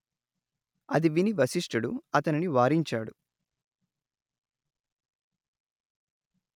అది విని వశిష్ఠుడు అతనిని వారించాడు